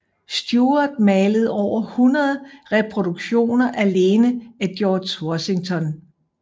Stuart malede over 100 reproduktioner alene af George Washington